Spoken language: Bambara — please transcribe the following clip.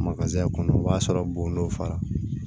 kɔnɔ o b'a sɔrɔ bon dɔ fara